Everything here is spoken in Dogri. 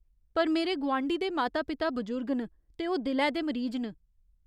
पर मेरे गुआंढी दे माता पिता बजुर्ग न ते ओह् दिलै दे मरीज न।